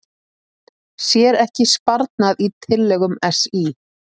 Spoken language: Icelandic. Sér ekki sparnað í tillögum SÍ